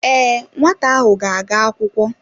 Ee, nwata ahụ ga-aga akwụkwọ.